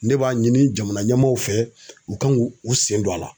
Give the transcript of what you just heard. Ne b'a ɲini jamana ɲɛmaaw fɛ u kan k'u sen don a la.